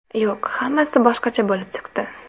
Yo‘q, hammasi boshqacha bo‘lib chiqdi.